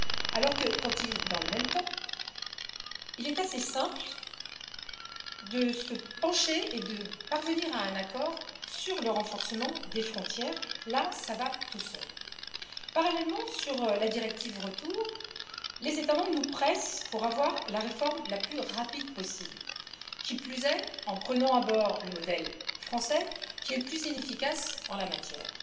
Alors que, dans le même temps, il est assez simple de se pencher et de parvenir à un accord sur le renforcement des frontières, là ça va tout seul. Parallèlement sur la directive Retour, les États membres nous pressent pour avoir la réforme la plus rapide possible, qui plus est, en prenant à bord le modèle français, qui est le plus inefficace en la matière.